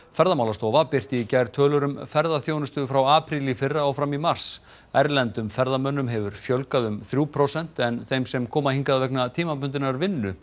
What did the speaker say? Ferðamálastofa birti í gær tölur um ferðaþjónustu frá apríl í fyrra og fram í mars erlendum ferðamönnum hefur fjölgað um þrjú prósent en þeim sem koma hingað vegna tímabundinnar vinnu